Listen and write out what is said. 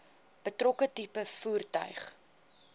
betrokke tipe voertuig